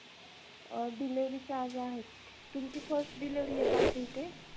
अ delivery charge आहेत तुमची first delivery आहे तर आमच्या इथे